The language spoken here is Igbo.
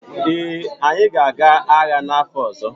ee, anyị ga-aga agha n’afọ ọzọ